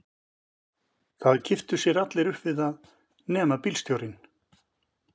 Það kipptu sér allir upp við það nema bílstjórinn.